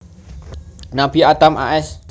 Nabi Adam a s